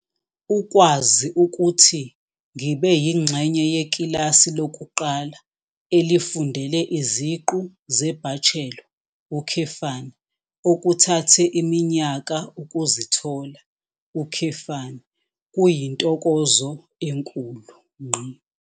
Ukwazi ukuthi ngibe yingxenye yekilasi lokuqala elifundele iziqu zebachelor, okuthathe iminyaka ukuzithola, kuyintokozo enkulu.